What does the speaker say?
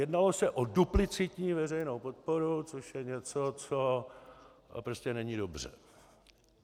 Jednalo se o duplicitní veřejnou podporu, což je něco, co prostě není dobře.